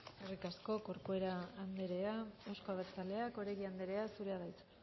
eskerrik asko corcuera andrea euzko abertzaleak oregi andrea zurea da hitza